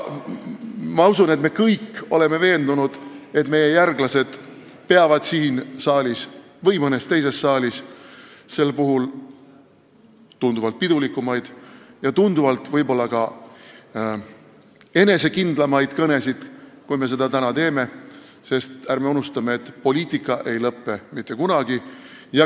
Ma usun aga, et me kõik oleme veendunud, et meie järglased peavad siin saalis või mõnes teises saalis sel puhul tunduvalt pidulikumaid ja võib-olla ka tunduvalt enesekindlamaid kõnesid, kui me seda täna teeme, sest ärme unustame: poliitika ei lõppe mitte kunagi.